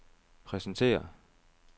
præsenterer